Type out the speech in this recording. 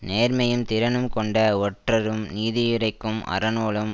நேர்மையும் திறனும் கொண்ட ஒற்றரும் நீதியுரைக்கும் அறநூலும்